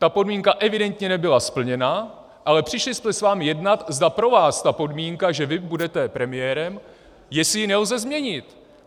Ta podmínka evidentně nebyla splněna, ale přišli jsme s vámi jednat, zda pro vás tu podmínku, že vy budete premiérem, jestli ji nelze změnit.